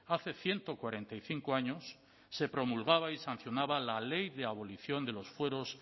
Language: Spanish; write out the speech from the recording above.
hace ciento cuarenta y cinco años se promulgaba y sancionaba la ley de la abolición de los fueros